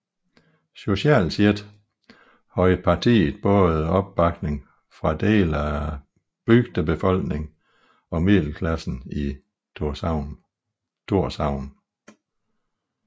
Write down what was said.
Socialt set havde partiet både opbakning fra dele af bygdebefolkningen og middelklassen i Tórshavn